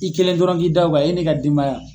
I kelen dɔrɔn b'i da o kan, e n'i ka denbaya.